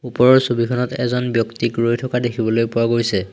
ওপৰৰ ছবিখনত এজন ব্যক্তিক ৰৈ থকা দেখিবলৈ পোৱা গৈছে।